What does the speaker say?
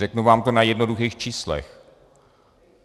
Řeknu vám to na jednoduchých číslech.